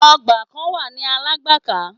Ọgbà kan wà ní Alágbàká.